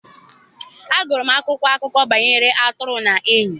Agụrụ m akwụkwọ akụkọ banyere atụrụ na enyi.